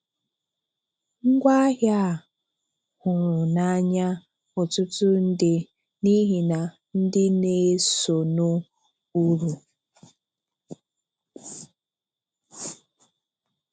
Ngwaahịa a hụrụ n’ànya ọ̀tùtụ̀ ndị n’ihi na ndị na-esonụ ùrụ: